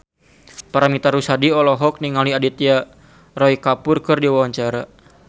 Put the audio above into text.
Paramitha Rusady olohok ningali Aditya Roy Kapoor keur diwawancara